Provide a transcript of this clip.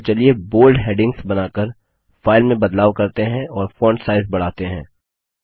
अतः चलिए bold headings बनाकर फाइल में बदलाव करते हैं और फॉन्ट साइज बढ़ाते हैं